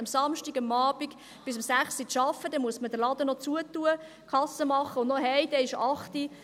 Am Samstagabend bis um 18 Uhr zu arbeiten, heisst, dass man den Laden noch schliessen und die Kasse machen muss, und danach geht man nach Hause.